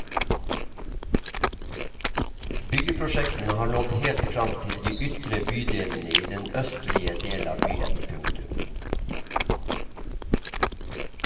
Byggeprosjektene har nådd helt frem til de ytre bydelene i den østlige del av byen. punktum